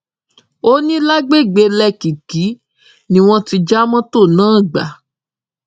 ó ní lágbègbè lẹkìkí ni wọn ti já mọtò náà gbà